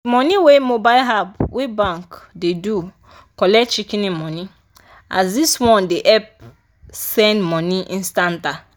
di money wey mobile app wey bank do dey collect shikin money as dis one dey help send money instanta.